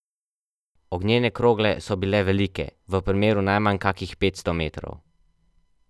Ognjene krogle so bile velike, v premeru najmanj kakih petsto metrov.